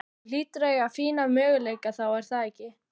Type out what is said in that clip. Þú hlýtur að eiga fína möguleika þá er það ekki?